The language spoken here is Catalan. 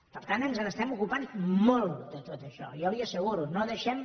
per tant ens n’estem ocupant molt de tot això jo li ho asseguro no deixem